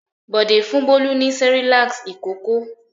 Bọ̀dé fún Bólú ní Cerelac ìkókó.